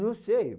Não sei.